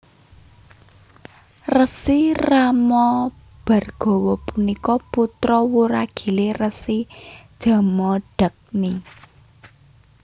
Resi Ramabhargawa punika putra wuragilè Resi Jamadagni